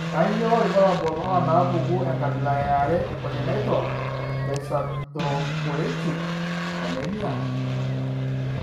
Kainyio irbulabul onaapuku enkabila eare eCongenital dyserythropoietic anemia?